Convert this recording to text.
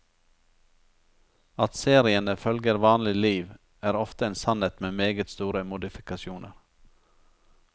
At seriene følger vanlige liv, er ofte en sannhet med meget store modifikasjoner.